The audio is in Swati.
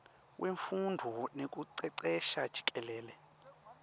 wemfundvo nekucecesha jikelele